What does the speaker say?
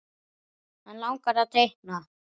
Hann langar að teikna.